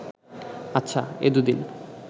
আচ্ছা, এ দুদিন